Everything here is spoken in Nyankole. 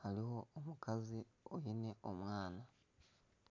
hariho omukazi ari omu maizi